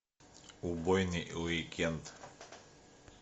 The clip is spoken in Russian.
убойный уикенд